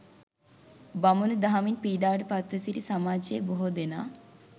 බමුණු දහමින් පීඩාවට පත්ව සිටි සමාජයේ බොහෝ දෙනා